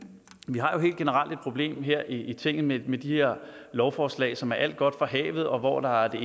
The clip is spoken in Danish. vi har jo helt generelt et problem her i tinget med de her lovforslag som er alt godt fra havet og hvor der er det